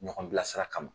Ɲɔgɔn bilasira kama